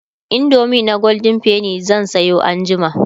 indomie na golden penny zan Sayo anjima